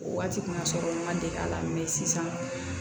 O waati kun y'a sɔrɔ n ma deli a la sisan